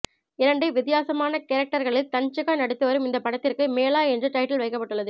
இரண்டு வித்தியாசமான கேரக்டர்களில் தன்ஷிகா நடித்து வரும் இந்த படத்திற்கு மேளா என்ற டைட்டில் வைக்கப்பட்டுள்ளது